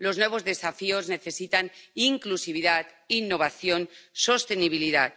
Los nuevos desafíos necesitan inclusividad, innovación, sostenibilidad.